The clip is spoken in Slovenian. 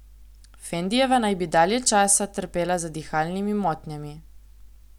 Fendijeva naj bi dalje časa trpela za dihalnimi motnjami.